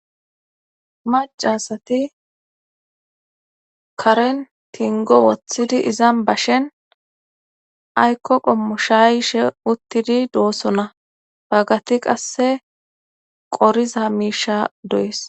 macasati karen tingo woththidi izan bashen aykko qommo shayshe uttidi doosona baggati qasse qoriza miisha do7es